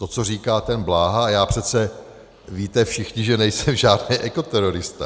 To, co říká ten Bláha - a já přece, víte všichni, že nejsem žádný ekoterorista.